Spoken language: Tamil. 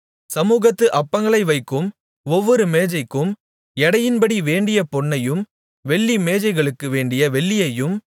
சமூகத்து அப்பங்களை வைக்கும் ஒவ்வொரு மேஜைக்கும் எடையின்படி வேண்டிய பொன்னையும் வெள்ளி மேஜைகளுக்கு வேண்டிய வெள்ளியையும்